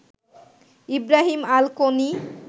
Ibrahim Al Koni